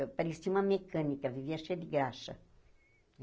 Eu parecia uma mecânica, vivia cheia de graxa.